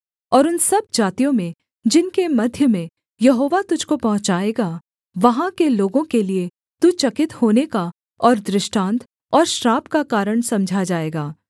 और उन सब जातियों में जिनके मध्य में यहोवा तुझको पहुँचाएगा वहाँ के लोगों के लिये तू चकित होने का और दृष्टान्त और श्राप का कारण समझा जाएगा